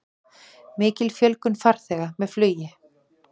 Mikil fjölgun farþega með flugi